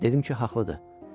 Dedim ki, haqlıdır.